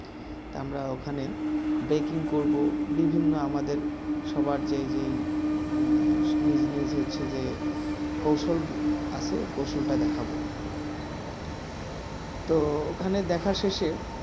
তা আমরা ওখানে আমাদের baking করবো বিভিন্ন আমাদের সবার যে যে business হচ্ছে যে কৌশল আছে কৌশল টা দেখাবো তো ওখানে দেখা শেষে